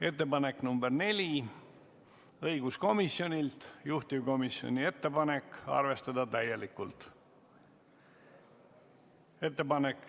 Ettepanek nr 4 on õiguskomisjonilt, juhtivkomisjoni ettepanek on arvestada seda täielikult.